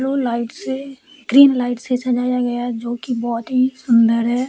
Blue light से green light से सजाया गया है जो की बहोत ही सुंदर है।